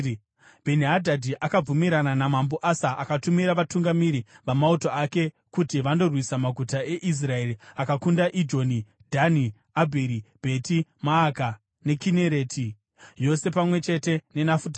Bheni-Hadhadhi akabvumirana naMambo Asa akatumira vatungamiri vamauto ake kuti vandorwisa maguta eIsraeri. Akakunda Ijoni, Dhani, Abheri Bheti Maaka neKinereti yose pamwe chete neNafutari.